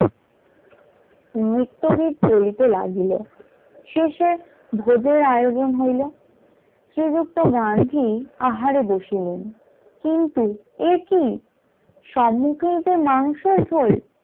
নিত্য গীত চলিত লাগিল শেষে ভোজের আয়োজন হইলো, শ্রীযুক্ত গান্ধী আহারে বসিল কিন্তু একি সম্মুখে যে মাংসের ঝোল।